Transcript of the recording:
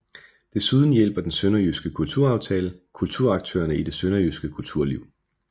Desuden hjælper Den Sønderjyske Kulturaftale kulturaktørerne i det Sønderjyske kulturliv